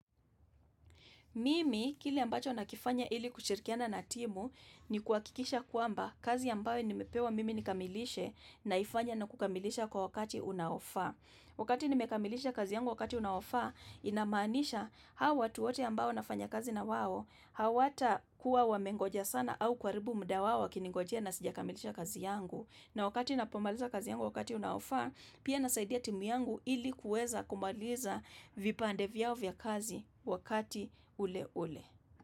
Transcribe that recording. Mimi, kile ambacho nakifanya ili kushirikiana na timu, ni kuhakikisha kwamba kazi ambayo nimepewa mimi nikamilishe naifanya na kukamilisha kwa wakati unaofaa. Wakati nimekamilisha kazi yangu wakati unaofaa, inamaanisha hao watu wote ambao nafanya kazi nawao, hawatakuwa wamengoja sana au kuha ribu muda wao wakinigojea na sijakamilisha kazi yangu. Na wakati napomaliza kazi yangu wakati unaoffa, pia nasaidia timu yangu ili kuweza kumaliza vipande vyao vya kazi wakati ule ule.